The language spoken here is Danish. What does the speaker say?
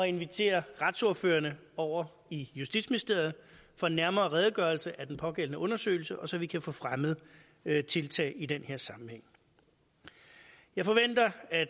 invitere retsordførerne over i justitsministeriet for en nærmere redegørelse af den pågældende undersøgelse så vi kan få fremmet tiltag i den her sammenhæng jeg forventer at